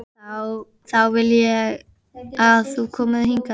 Þá vil ég að þú komir hingað!